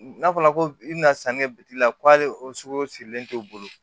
N'a fɔra ko i bɛna sanni kɛ bi la ko hali o sugu sirilen t'o bolo